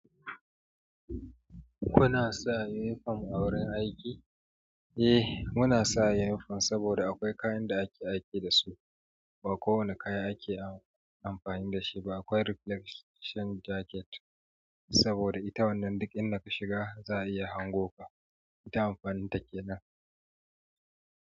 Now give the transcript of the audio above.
Kuna sa uniform a wurin aiki? Eh muna sa uniform saboda akwai kayan da ake aiki dasu ba kowane kaya ake amfani dashi ba. Akwai ripbelt shen jacket saboda ita wannan duk inda kashiga za a iya hango ka ita amfanin take nan.